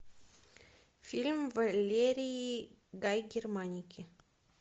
фильм валерии гай германики